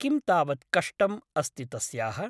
किं तावत् कष्टम् अस्ति तस्याः ?